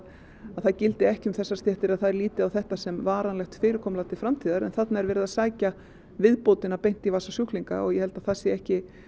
það gildi ekki um þessar stéttir að þær líti á þetta sem varanlegt fyrirkomulag til framtíðar en þarna er verið að sækja viðbótina beint í vasa sjúklinga ég held að það sé ekki